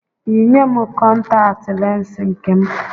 Yinye m, kọntatị lensi nke m